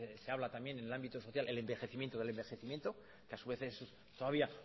se habla también en ámbito social el envejecimiento del envejecimiento que a su vez es todavía